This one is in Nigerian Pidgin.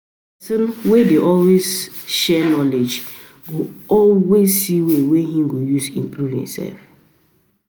Person wey dey always share knowledge, go always see way to improve en sef.